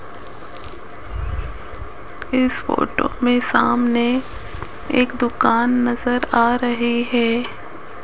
इस फोटो में सामने एक दुकान नजर आ रहे है।